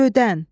Gövdən.